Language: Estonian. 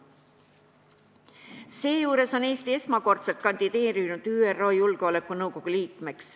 Eesti on esmakordselt kandideerinud ÜRO Julgeolekunõukogu liikmeks.